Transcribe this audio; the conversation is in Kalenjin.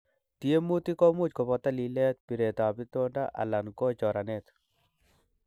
Tiemutik komuch koboto lilet, biretab itondo alan ko choranet.